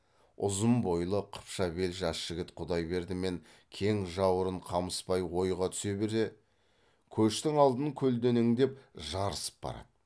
ұзын бойлы қыпша бел жас жігіт құдайберді мен кең жауырын қамысбай ойға түсе бере көштің алдын көлденеңдеп жарысып барады